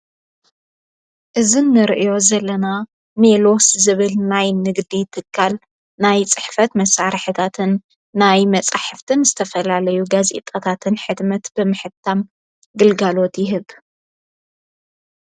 እዝንርእዮ ዘለና ሜሎስ ዝብል ናይ ንግዲ ትጋል ናይ ጽሕፈት መሣር ሕታትን ናይ መጻሕፍትን ዝተፈላለዩ ገጺጣታትን ኅድመት ብምሕታም ግልጋሎት ይህብ።